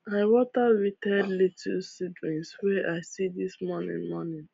i water wilted lettuce seedlings wey i see this morning morning